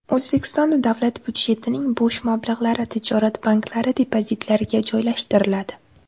O‘zbekistonda davlat byudjetining bo‘sh mablag‘lari tijorat banklari depozitlariga joylashtiriladi.